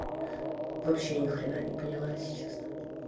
вообще ни хрена не поняла если честно